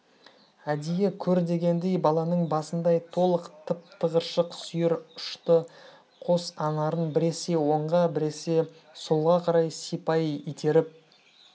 әдейі көр дегендей баланың басындай толық тып-тығыршық сүйір ұшты қос анарын біресе оңға біресе солға қарай сипай итеріп